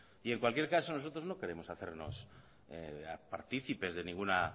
y en cualquier caso nosotros no queremos hacernos partícipes de ningún